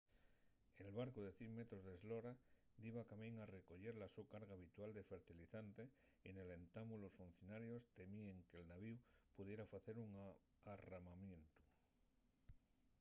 el barcu de 100 metros d’eslora diba de camín a recoyer la so carga habitual de fertilizante y nel entamu los funcionarios temíen que’l navíu pudiera facer un arramamientu